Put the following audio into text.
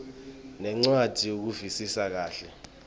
nencwadzi ukuvisisa kahle